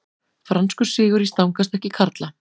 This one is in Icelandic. Franskur sigur í stangarstökki karla